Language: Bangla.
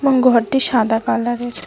এবং ঘরটি সাদা কালারের।